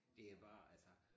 Det bare altså